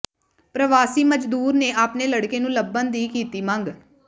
ਪ੍ਰਵਾਸੀ ਮਜ਼ਦੂਰ ਨੇ ਆਪਣੇ ਲੜਕੇ ਨੂੰ ਲੱਭਣ ਦੀ ਕੀਤੀ ਮੰਗ